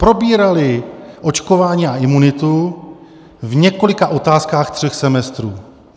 Probírali očkování a imunitu v několika otázkách tří semestrů.